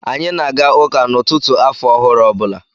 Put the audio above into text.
Anyị na aga ụka n'ụtụtụ afọ ọhụrụ ọ bụla.